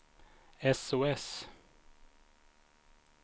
sos